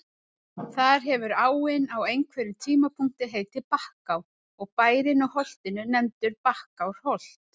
Þar hefur áin á einhverjum tímapunkti heitið Bakká og bærinn á holtinu nefndur Bakkárholt.